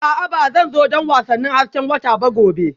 A'a Ba zan zo don wasannin hasken wata ba gobe